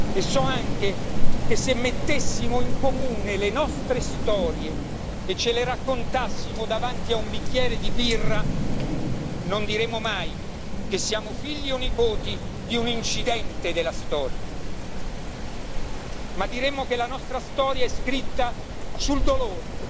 E so anche che se mettessimo in comune le nostre storie e ce le raccontassimo davanti a un bicchiere di birra, non diremmo mai che siamo figli o nipoti di un incidente della storia, ma diremmo che la nostra storia è scritta sul dolore,